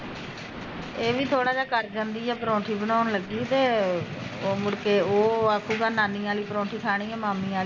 ਏਹ ਵੀ ਥੋੜਾ ਜਿਹਾ ਕਰ ਜਾਂਦੀ ਐ ਪਰੋਂਠੀ ਬਣਾਉਣ ਲੱਗੀ ਤੇ ਮੁੜ ਕੇ ਉਹ ਆਖੂਗਾ ਨਨੀ ਆਲੀ ਪਰੋਂਠੀ ਖਾਣੀ ਆ ਮਾਮੀ ਆਲੀ ਨੀ